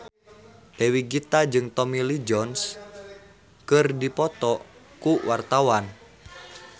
Dewi Gita jeung Tommy Lee Jones keur dipoto ku wartawan